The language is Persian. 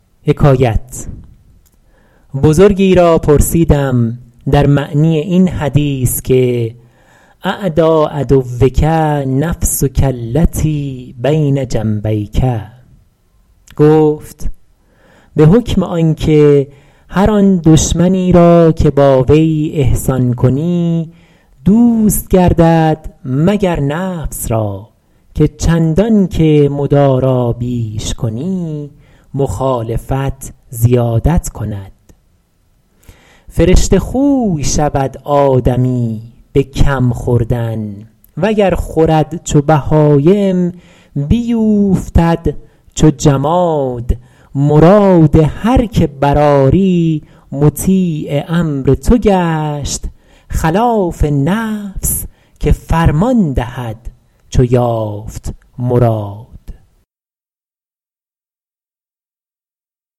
بزرگی را پرسیدم در معنی این حدیث که اعدی عدوک نفسک التی بین جنبیک گفت به حکم آن که هر آن دشمنی را که با وی احسان کنی دوست گردد مگر نفس را که چندان که مدارا بیش کنی مخالفت زیادت کند فرشته خوی شود آدمی به کم خوردن وگر خورد چو بهایم بیوفتد چو جماد مراد هر که برآری مطیع امر تو گشت خلاف نفس که فرمان دهد چو یافت مراد